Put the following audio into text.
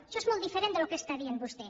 això és molt diferent del que està dient vostè